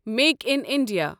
make in India